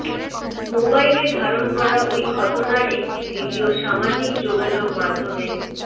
মোবাইলে ধারণ করা ওই ঘটনার একটি ভিডিও সামাজিক যোগাযোগ মাধ্যমে